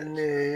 Ne ye